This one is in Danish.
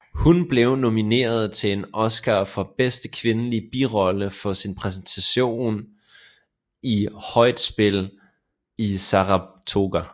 Hun blev nomineret til en Oscar for bedste kvindelige birolle for sin præstation i Højt spil i Saratoga